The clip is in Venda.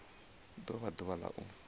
do vha ḓuvha la u